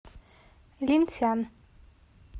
линьсян